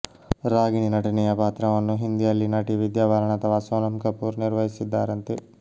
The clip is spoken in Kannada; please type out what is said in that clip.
ರಾಗಿಣಿ ನಟನೆಯ ಪಾತ್ರವನ್ನು ಹಿಂದಿಯಲ್ಲಿ ನಟಿ ವಿದ್ಯಾ ಬಾಲನ್ ಅಥವಾ ಸೋನಮ್ ಕಪೂರ್ ನಿರ್ವಹಿಸಿದ್ದಾರಂತೆ